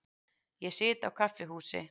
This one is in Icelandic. Ég sit á kaffihúsi.